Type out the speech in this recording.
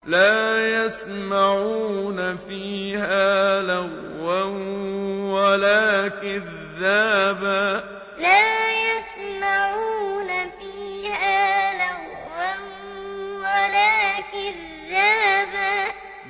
لَّا يَسْمَعُونَ فِيهَا لَغْوًا وَلَا كِذَّابًا لَّا يَسْمَعُونَ فِيهَا لَغْوًا وَلَا كِذَّابًا